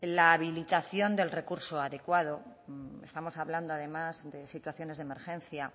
la habilitación del recurso adecuado estamos hablando además de situaciones de emergencia